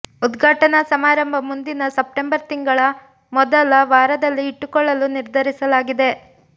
ಉದ್ಘಾಟನಾ ಸಮಾರಂಭ ಮುಂದಿನ ಸೆಪ್ಟೆಂಬರ್ ತಿಂಗಳ ಮೊದಲ ವಾರದಲ್ಲಿ ಇಟ್ಟುಕೊಳ್ಳಲು ನಿರ್ಧರಿಸಲಾಗಿದೆ